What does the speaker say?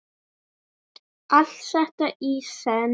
Allt þetta í senn?